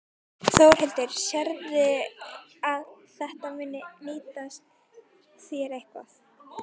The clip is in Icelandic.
Þórhildur: Sérðu að þetta muni nýtast þér eitthvað?